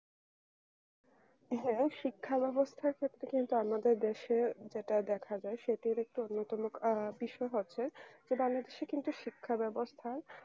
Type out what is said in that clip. হ্যাঁ শিক্ষা ব্যবস্থার ক্ষেত্রে কিন্তু আমাদের যেটা দেখা যায় সেটির একটু অন্যতম আ বিষয় হচ্ছে যেটা অনেক দেশে কিন্তু শিক্ষা ব্যবস্থার